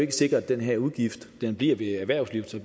er sikkert at den her udgift kun bliver ved erhvervslivet